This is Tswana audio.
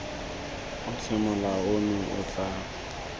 otlhe molao ono o tla